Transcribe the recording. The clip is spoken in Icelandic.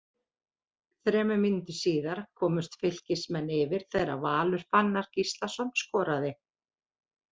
Þremur mínútum síðar komust Fylkismenn yfir þegar Valur Fannar Gíslason skoraði.